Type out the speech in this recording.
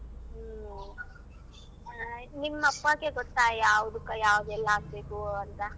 ಹ್ಮ. ಆ ನಿಮ್ಮಪ್ಪಾಗೆ ಗೊತ್ತ ಯಾವ್ದುಕ ಯಾವ್ದೆಲ್ ಹಾಕ್ಬೇಕು ಅಂತ?